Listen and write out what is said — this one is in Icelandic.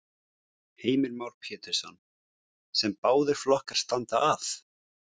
Heimir Már Pétursson: Sem báðir flokkar standa að?